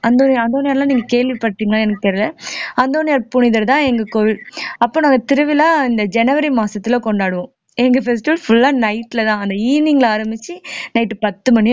அந்தோணியர் அந்தோணியர் நீங்க கேள்விப்பட்டீங்களா எனக்கு தெரியல அந்தோனியார் புனிதர்தான் எங்க கோயில் அப்ப நாங்க திருவிழா இந்த ஜனவரி மாசத்துல கொண்டாடுவோம் எங்க festival full ஆ night லதான் அந்த evening ல ஆரம்பிச்சு night பத்து மணி